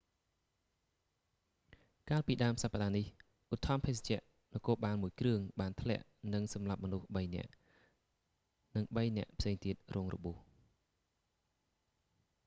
កាលពីដើមសប្តាហ៍នេះ ឧទ្ធម្ភាគចក្រនគរបាលមួយគ្រឿង បានធ្លាក់និងសម្លាប់មនុស្ស3នាក់ និង 3នាក់ផ្សេងទៀតរងរបួស